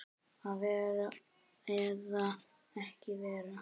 Að vera eða ekki vera?